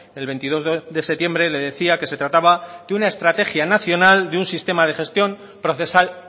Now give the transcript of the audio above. el veintidós de septiembre le decía que se trataba de una estrategia nacional de un sistema de gestión procesal